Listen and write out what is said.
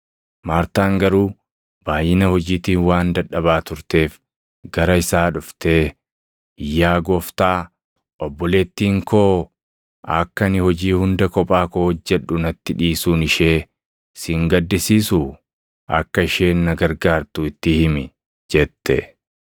Maartaan garuu baayʼina hojiitiin waan dadhabaa turteef gara isaa dhuftee, “Yaa Gooftaa, obboleettiin koo akka ani hojii hunda kophaa koo hojjedhu natti dhiisuun ishee si hin gaddisiisuu? Akka isheen na gargaartu itti himi!” jette.